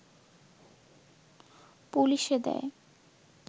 পুলিশে দেয়